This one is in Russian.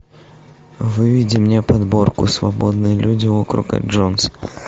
выведи мне подборку свободные люди округа джонс